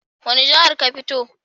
Wani jihar ka fito?